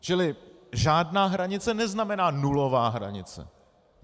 Čili žádná hranice neznamená nulová hranice.